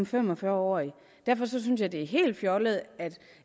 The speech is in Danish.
fem og fyrre årig derfor synes jeg det er helt fjollet at